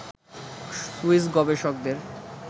Swiss গবেষকদের